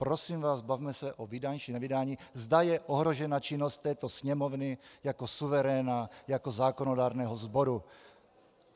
Prosím vás, bavme se o vydání či nevydání, zda je ohrožena činnost této Sněmovny jako suveréna, jako zákonodárného sboru.